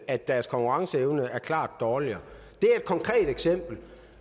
at deres konkurrenceevne er klart dårligere det er et konkret eksempel